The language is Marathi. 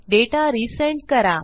डेटा रिसेंड करा